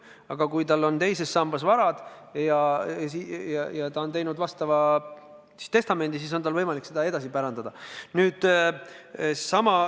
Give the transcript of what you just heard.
Aga kui tal on teises sambas vara ja ta on teinud testamendi, siis tal on võimalik seda vara pärandada.